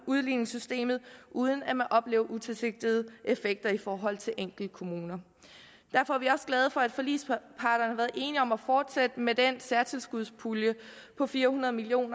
udligningssystemet uden at man oplever utilsigtede effekter i forhold til enkeltkommuner derfor er vi også glade for at forligsparterne har været enige om at fortsætte med den særtilskudspulje på fire hundrede million